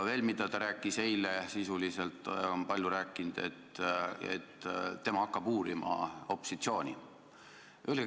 Veel ta rääkis eile ja sisuliselt on ta seda palju rääkinud, et tema hakkab uurima opositsiooni.